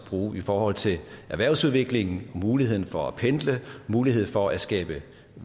bruge i forhold til erhvervsudviklingen muligheden for at pendle muligheden for at skabe